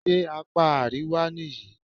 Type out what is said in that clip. Ṣé apá àríwá nìyí?